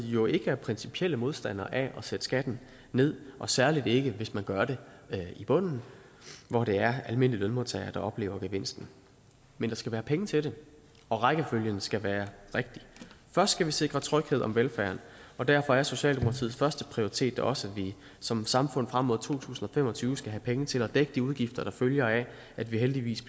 jo ikke er principielle modstandere af at sætte skatten ned særlig ikke hvis man gør det i bunden hvor det er almindelige lønmodtagere der oplever gevinsten men der skal være penge til det og rækkefølgen skal være rigtig først skal vi sikre tryghed om velfærden og derfor er socialdemokratiets førsteprioritet da også at vi som samfund frem mod to tusind fem og tyve skal have penge til at dække de udgifter der følger af at vi heldigvis